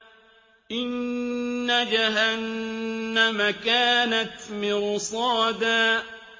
إِنَّ جَهَنَّمَ كَانَتْ مِرْصَادًا